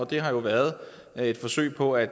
det har jo været i et forsøg på at